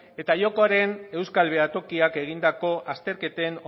eta jokoaren euskal behatokiak egindako azterketen